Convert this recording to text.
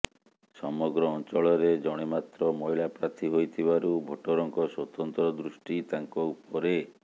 ସମଗ୍ର ଅଞ୍ଚଳରେ ଜଣେ ମାତ୍ର ମହିଳା ପ୍ରାର୍ଥୀ ହୋଇଥିବାରୁ ଭୋଟରଙ୍କ ସ୍ୱତନ୍ତ୍ର ଦୃଷ୍ଟି ତାଙ୍କ ଉପରେ